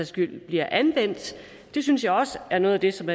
skyld bliver anvendt det synes jeg også er noget det som